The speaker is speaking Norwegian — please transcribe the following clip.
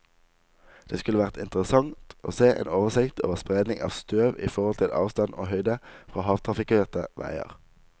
Det skulle vært interessant å se en oversikt over spredning av støv i forhold til avstand og høyde fra hardtrafikkerte veier.